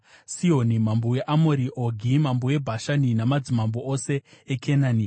Sihoni mambo weAmori, Ogi mambo weBhashani namadzimambo ose eKenani,